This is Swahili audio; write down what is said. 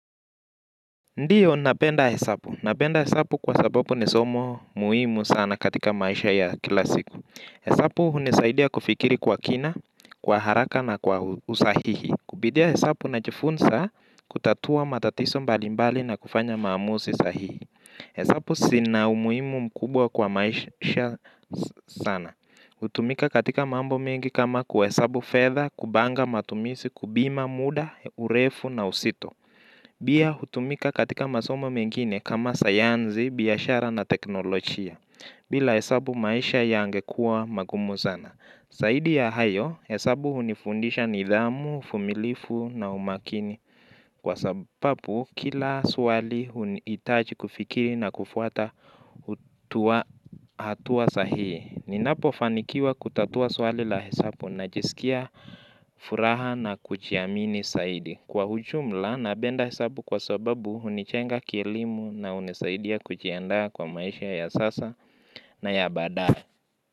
Ndiyo, napenda hesapu. Napenda hesapu kwa sababu nisomo muimu sana katika maisha ya kila siku. Hesapu hunisaidia kufikiri kwa kina kwa haraka na kwa usahihi. Kupidia hesapu na chifunsa kutatua matatiso mbalimbali na kufanya maamusi sahihi. Hesapu sina umuimu mkubwa kwa maisha sana. Hutumika katika mambo mengi kama kwa hesapu fedha, kubanga matumisi, kubima muda, urefu na usito. Bia hutumika katika masoma mengine kama sayanzi, biashara na teknolochia, bila hesabu maisha yangekua magumu zana. Saidi ya hayo, hesabu hunifundisha nidhamu, fumilifu na umakini kwa sababu kila swali itaji kufikiri na kufuata hutua hatua sahii. Ninapo fanikiwa kutatua suwali la hesabu na jisikia furaha na kujiamini saidi. Kwa hujumla, nabenda hesabu kwa sababu unichenga kielimu na unisaidia kujiandaa kwa maisha ya sasa na ya badae.